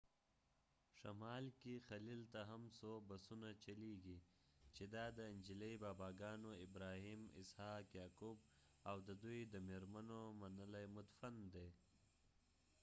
شمال کې خلیل ته هم څو بسونه چلیږي چې دا د انجیلي باباګانو ابراهیم اسحاق یعقوب او د دوی د مېرمنو منلی مدفن دی